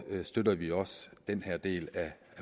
støtter vi også den her del af